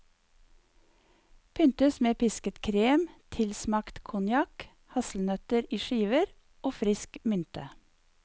Pyntes med pisket krem tilsmakt konjakk, hasselnøtter i skiver og frisk mynte.